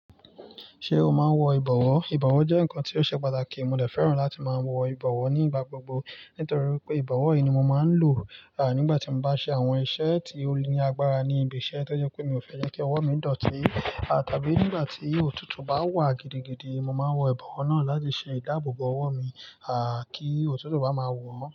Ṣé o máa ń wọ ìbọ̀wọ́? Ìbọ̀wọ́ jẹ́ ǹkan tí ó ṣe pàtàkì. Mo lè fẹ́ràn láti máa wọ ìbọ̀wọ́ nígbà gbogbo nítorí pé ìbọ̀wọ́ ni mo máa ń lò, à nígbà tí mo bá ṣe àwọn iṣẹ́ tí ó ní agbára ní ibi iṣẹ́ tó jẹ́ pé mi ò fẹ́ jẹ́ kí ọwọ́ mi dọ̀tí, à tàbí nígbà tí òtútù bá wà gidigidi, mo máa wọ ìbọ̀wọ́ náà láti ṣe ìdáàbò bo ọwọ́ mi, à kí òtútù bá máa wò ó.